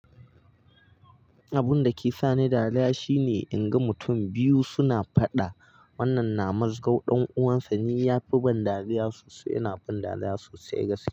Abun da ke sa ni dariya shine in ga mutum biyu suna faɗa. Wannan na mazgo ɗan uwansa, ni yafi ban dariya sosai. Yana ban dariya sosai gaskiya.